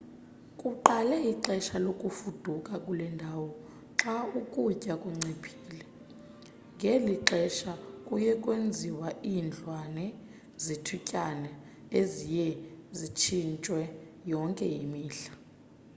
kuqala ixesha lokufuduka kule ndawo xa ukutya kunciphile ngeli xesha kuye kwenziwe iindlwana zethutyana eziye zitshintshwe yonke imihla